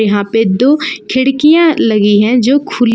यहां पे दो खिड़कियां लगी है जो खुली--